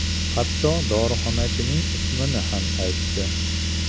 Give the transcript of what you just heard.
Hatto dorixonachining ismini ham aytdi.